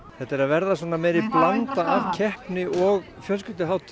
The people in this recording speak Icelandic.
þetta er að verða meiri blanda af keppni og fjölskylduhátíð